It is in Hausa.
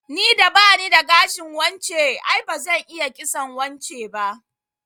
Ni da bani da gashin wance, ai bazan iya kitson wance ba